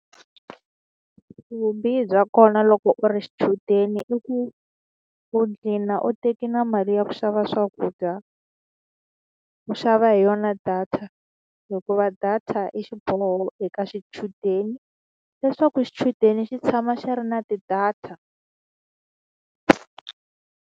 Vubihi bya kona loko u ri xichudeni i ku, u dlhina u teke na mali ya ku xava swakudya, u xava hi yona na data. Hikuva data i xiboho eka xichudeni leswaku xichudeni xi tshama xi ri na ti-data.